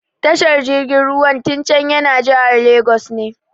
Tashar jirgin ruwan Tincan yana jihar Lagos ne.